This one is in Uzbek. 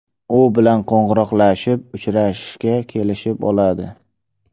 U bilan qo‘ng‘iroqlashib, uchrashishga kelishib oladi.